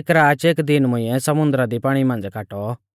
एक राच एक दीन मुंइऐ समुन्दरा दी पाणी मांझ़ी काटौ